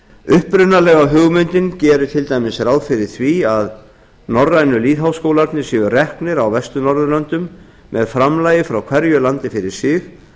upprunalega hugmyndin gerir til dæmis ráð fyrir því að norrænu lýðháskólarnir séu reknir á vestur norðurlöndum með framlagi frá hverju landi fyrir sig